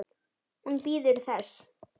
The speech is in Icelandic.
Hún bíður þess.